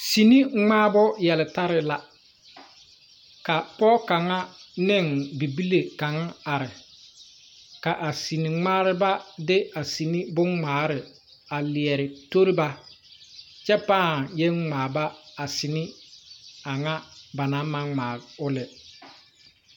Sine ngmaabu yeltarre la ka poɔ kanga nin bibile kang arẽ ka a sene ngmaareba de a sine bungmaare a leɛ toriba kye paa yeng ngmaa ba a seni a nga ba nang mang ngmaa ɔ lɛ.